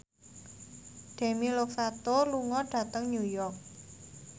Demi Lovato lunga dhateng New York